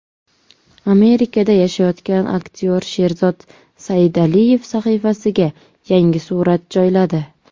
Amerikada yashayotgan aktyor Sherzod Saidaliyev sahifasiga yangi surat joyladi.